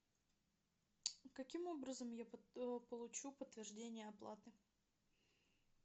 каким образом я получу подтверждение оплаты